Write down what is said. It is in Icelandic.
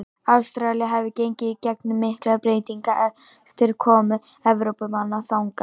Ástralía hefur gengið í gegnum miklar breytingar eftir komu Evrópumanna þangað.